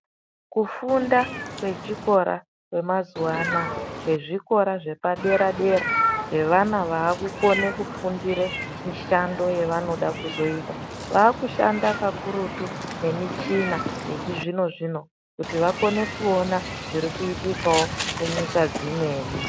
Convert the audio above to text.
Kufinda kwechikora kwemazuwa anaa kwezvikora zvepadera-dera zvevana vakukone kufundire mishando yevanoda kuzoita, vakushanda kakurutu nemichina yechizvino-zvino kuti vakone kuona zvirikuitikawo kunyika dzimweni.